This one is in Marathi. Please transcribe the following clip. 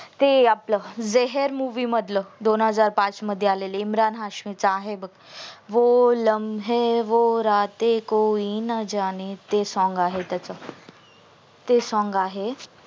ते आपल जेहेर movie मधलं दोन हजार पाच मध्ये आलेल इमरान हाशमी च आहे बघ वो लमहे वो राते कोई न जाने ते Song त्याच ते song आहे